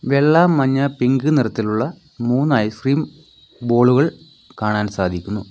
വെള്ള മഞ്ഞ പിങ്ക് നിറത്തിലുള്ള മൂന്ന് ഐസ്ക്രീം ബോളുകൾ കാണാൻ സാധിക്കുന്നു.